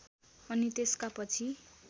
अनि त्यसका पछि